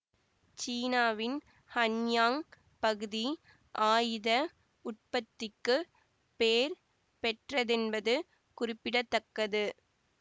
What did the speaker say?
சீனாவின் ஹன்யாங் பகுதி ஆயுத உற்பத்திக்குப் பேர் பெற்றதென்பது குறிப்பிட தக்கது